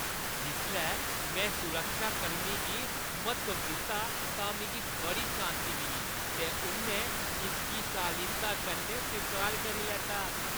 जिसलै में सुरक्षाकर्मी गी म्हत्तव दित्ता तां मिगी बड़ी शान्ति मिली, ते उʼन्नै इसगी शालीनता कन्नै स्वीकार करी लैता।